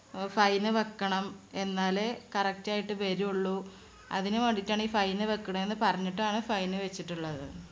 അഹ് fine വെക്കണം. എന്നാലേ correct യിട്ട് വരുള്ളൂ. അതിനു വേണ്ടീട്ടാണ് ഈ fine വെക്കണേന്ന് പറഞ്ഞിട്ടാണ് fine വെച്ചിട്ടുള്ളത്.